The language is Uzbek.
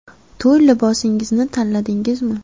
To‘y libosingizni tanladingizmi?